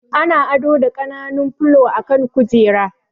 Ana ado da ƙananun fulo a kan kujera